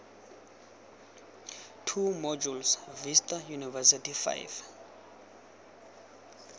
two modules vista university five